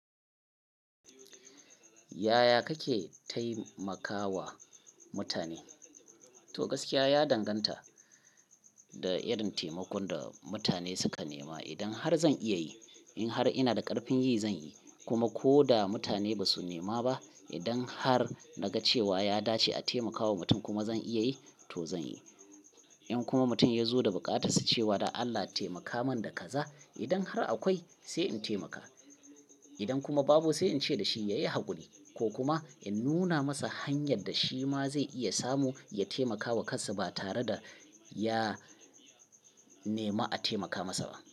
Yaya kake taimakawa mutane? To gaskiya ya danganta da irin taimakon da mutane suka nema. Idan har zan iya yi, in har ina da ƙarfin yi zan yi, kuma ko da mutane ba su nema ba, idan har na ga cewa ya dace a taimakawa mutum kuma zan iya yi, to zan yi. In kuma mutum ya zo da buƙata, su ce wa da Allah ta taimaka man da kaza, idan har akwai sai in taimaka. Idan kuma babu sai in ce da shi ya yi haƙuri ko kuma in nuna masa hanyar da shi ma zai iya samu ya taimaka wa kansa ba tare da ya nema a taimaka masa ba.